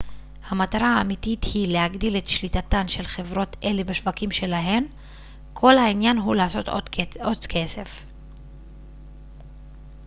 המטרה האמיתית היא להגדיל את שליטתן של חברות אלה בשווקים שלהן כל העניין הוא לעשות עוד כסף